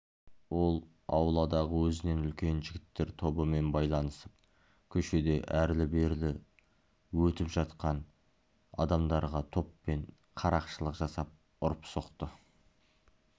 ол ауладағы өзінен үлкен жігіттер тобымен байланысып көшеде әрлі-бері өтіп жатқан адамдарға топпен қарақшылық жасап ұрып-соқты